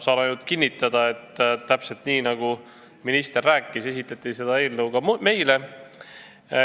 Saan ainult kinnitada, et täpselt nii, nagu minister rääkis, esitleti seda eelnõu ka meile.